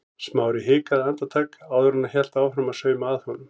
Smári hikaði andartak áður en hann hélt áfram að sauma að honum.